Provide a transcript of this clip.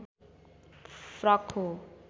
frock हो